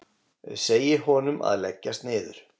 Segi honum að leggjast niður.